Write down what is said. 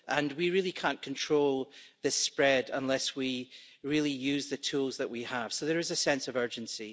We really can't control this spread unless we really use the tools that we have, so there is a sense of urgency.